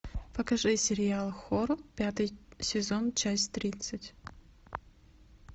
покажи сериал хор пятый сезон часть тридцать